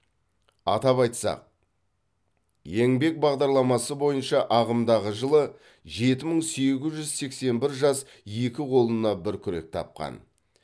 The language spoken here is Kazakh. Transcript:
атап айтсақ еңбек бағдарламасы бойынша ағымдағы жылы жеті мың сегіз жүз сексен бір жас екі қолына бір күрек тапқан